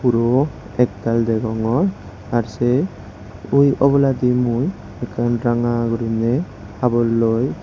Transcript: huro ektal degongor ar sei oboladi ekkan ranga gurinei haborloi.